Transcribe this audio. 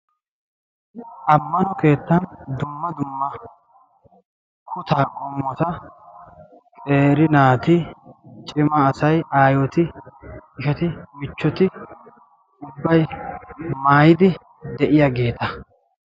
Ammano keettan dumma dumma kutta qommota qeeri naati, cimaa asay, aaayyoti, ishshati. michchoti ubbay maayyid de'iyaabeeta.